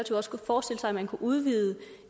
man kunne udvide